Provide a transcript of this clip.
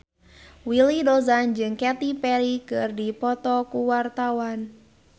Willy Dozan jeung Katy Perry keur dipoto ku wartawan